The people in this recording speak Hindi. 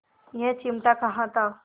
यह चिमटा कहाँ था